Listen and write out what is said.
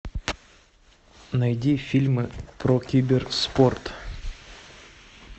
найди фильмы про киберспорт